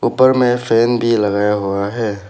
ऊपर में फैन भी लगाया हुआ है।